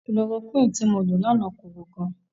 Kulorokúìnì tí mo lo láàná korò gan.